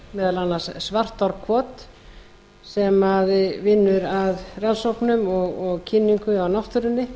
meðal annars svartárkot sem vinnur að rannsóknum og kynningu á náttúrunni